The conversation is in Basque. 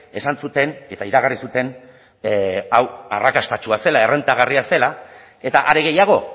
esan zuten eta iragarri zuten hau arrakastatsua zela errentagarria zela eta are gehiago